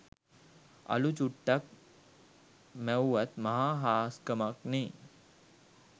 අළු චුට්ටක් මැව්වත් මහා හාස්කමක්නේ.